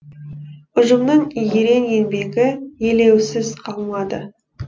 ұжымның ерен еңбегі елеусіз қалмады